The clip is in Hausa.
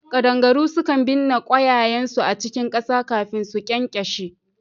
Kadangaru sukan binna kwayayensu a cikin kasa kafin su ƙyanƙyashe